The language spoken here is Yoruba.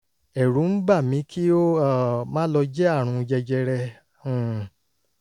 ẹ̀rù ń bà mí kí ó um má lọ jẹ́ àrùn jẹjẹrẹ um